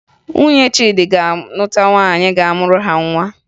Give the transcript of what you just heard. Nwunye Chidi ga-alụta nwaanyị ga-amụrụ ha nwa